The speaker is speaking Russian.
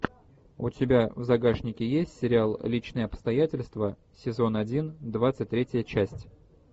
у тебя в загашнике есть сериал личные обстоятельства сезон один двадцать третья часть